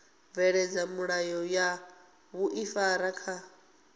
bveledza milayo ya vhuifari kha